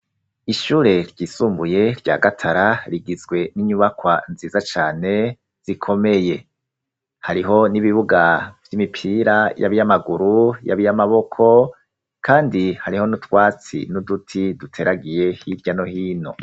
Ishure ry'isumbuye rya gatara rigizwe n'inyubakwa nziza cane zikomeye hariho n'ibibuga by'imipira y'abiyamaguru y'abiyamaboko kandi hariho n'utwatsi n'uduti duteragiye hirya no hino.